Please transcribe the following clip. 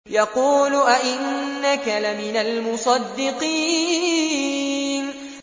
يَقُولُ أَإِنَّكَ لَمِنَ الْمُصَدِّقِينَ